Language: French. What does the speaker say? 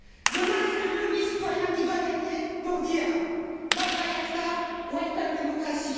Demain, c'est le lobby citoyen qui doit gagner pour dire Bye bye ACTA, welcome democracy!